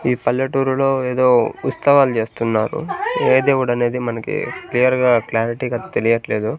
ఈ పల్లెటూరులో ఏదో ఉత్సవాలు చేస్తున్నారు ఏ దేవుడనేది మనకి క్లియర్ గా క్లారిటీగా తెలియట్లేదు.